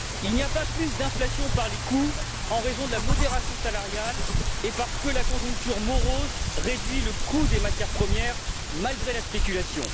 Il n'y a pas plus d'inflation par les coûts en raison de la modération salariale, ou parce que la conjoncture morose réduit le coût des matières premières malgré la spéculation.